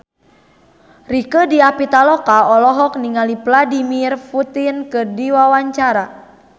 Rieke Diah Pitaloka olohok ningali Vladimir Putin keur diwawancara